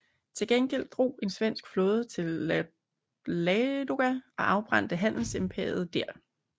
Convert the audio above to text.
Til gengæld drog en svensk flåde til Ladoga og afbrændte handelsimperiet der